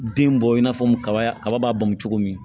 Den bɔ i n'a fɔ kaba kaba b'a bamu cogo min